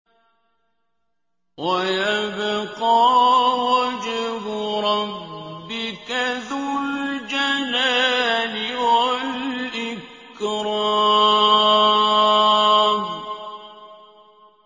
وَيَبْقَىٰ وَجْهُ رَبِّكَ ذُو الْجَلَالِ وَالْإِكْرَامِ